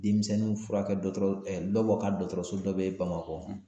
Denmisɛnninw furakɛ dɔgɔtɔrɔso lɔbɔ ka dɔgɔtɔrɔso be yen Bamakɔ